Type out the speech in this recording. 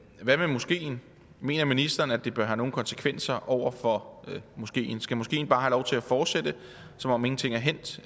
hvad med moskeen mener ministeren at det bør have nogle konsekvenser for moskeen skal moskeen bare have lov til at fortsætte som om ingenting er hændt